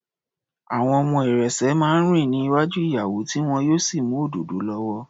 Àwọn ọmọ ìrẹ̀sẹ̀ máa ń rìn ní iwájú ìyàwó tí wọn yóò sì mú òdòdó lọ́wọ́.